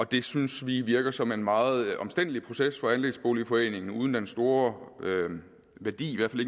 det synes vi virker som en meget omstændelig proces for andelsboligforeningen uden den store værdi i